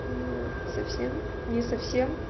ну совсем не совсем